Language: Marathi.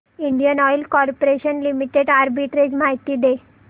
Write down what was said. Indian oil corporation limited arbitrage माहिती दे